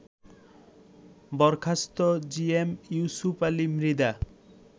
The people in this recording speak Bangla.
বরখাস্ত জিএম ইউসুপ আলী মৃধা